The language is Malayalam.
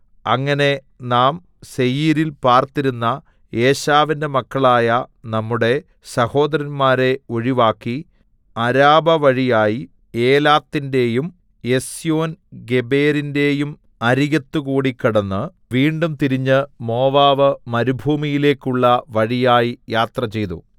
അങ്ങനെ നാം സേയീരിൽ പാർത്തിരുന്ന ഏശാവിന്റെ മക്കളായ നമ്മുടെ സഹോദരന്മാരെ ഒഴിവാക്കി അരാബവഴിയായി ഏലാത്തിന്റെയും എസ്യോൻഗേബെരിന്റെയും അരികത്തുകൂടി കടന്ന് വീണ്ടും തിരിഞ്ഞ് മോവാബ് മരുഭൂമിയിലേക്കുള്ള വഴിയായി യാത്രചെയ്തു